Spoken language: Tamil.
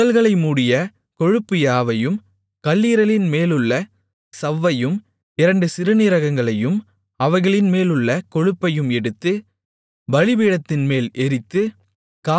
குடல்களை மூடிய கொழுப்பு யாவையும் கல்லீரலின்மேலுள்ள சவ்வையும் இரண்டு சிறுநீரகங்களையும் அவைகளின்மேலுள்ள கொழுப்பையும் எடுத்து பலிபீடத்தின்மேல் எரித்து